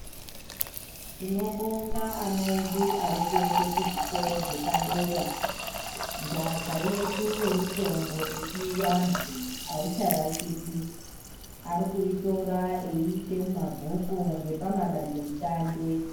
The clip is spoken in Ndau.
Tinobonga ana edu arikuende kuzvikoro zvepadera nhaka yedu yemitombo yechivantu haicharashikwi. Arikuitora eiise mumabhuku ngepama dandemutande.